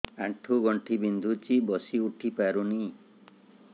ଆଣ୍ଠୁ ଗଣ୍ଠି ବିନ୍ଧୁଛି ବସିଉଠି ପାରୁନି